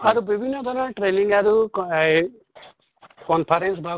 আৰু বিভিন্ন ধৰণৰ training আৰু ক এই conference বা